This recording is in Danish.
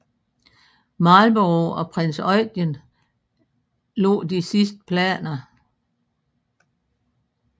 Marlborough og prins Eugen lagde de sidste planer